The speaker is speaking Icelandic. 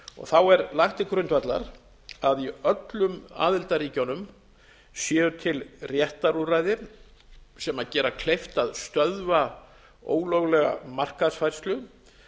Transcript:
þá er lagt til grundvallar að í öllum aðildarríkjunum séu til réttarúrræði sem gera kleift að stöðva ólöglega markaðsfærslu